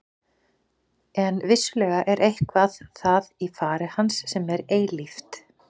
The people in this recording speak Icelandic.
En vissulega er eitthvað það í fari hans sem er eilíft.